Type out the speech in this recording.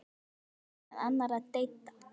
Það vakning meðal annarra deilda.